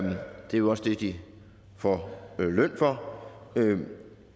jo også det de får løn for der vil